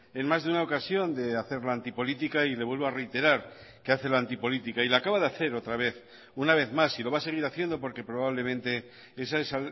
en más de una ocasión de hacer la antipolítica y le vuelvo a reiterar que hace la antipolítica y la acaba de hacer otra vez una vez más y lo va a seguir haciendo porque probablemente esa es